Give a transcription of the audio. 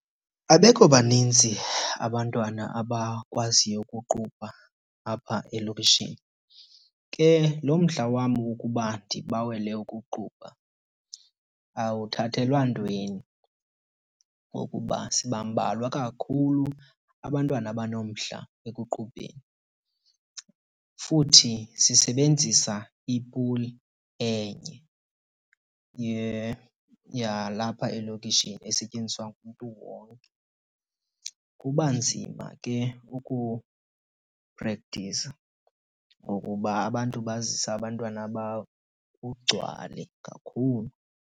Abekho baninzi abantwana abakwaziyo ukuqubha apha elokishini. Ke lo mdla wam wokuba ndibawele ukuqubha awuthathelwa ntweni ngokuba sibambalwa kakhulu abantwana abanomdla ekuqubeni. Futhi sisebenzisa ipuli enye yalapha elokishini esetyenziswa ngumntu wonke. Kuba nzima ke ukuprektiza ngokuba abantu bazisa abantwana babo kugcwale kakhulu.